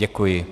Děkuji.